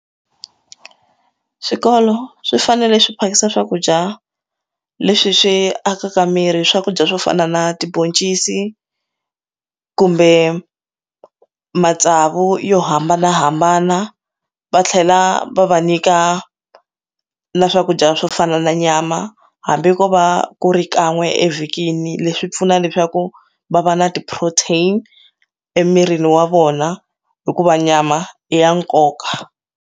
Swikolo swi fanele swi phakisa swakudya leswi swi akaka miri swakudya swo fana na tibhoncisi kumbe matsavu yo hambanahambana va tlhela va va nyika na swakudya swo fana na nyama hambi ko va ku ri kan'we evhikini leswi pfuna leswaku va va na ti protein emirini wa vona hikuva nyama i ya nkoka.